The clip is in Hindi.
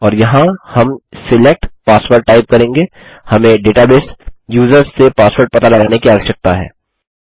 और यहाँ हम सिलेक्ट पासवर्ड टाइप करेंगे हमें डेटाबेस यूजर्स से पासवर्ड पता लगाने की आवश्यकता है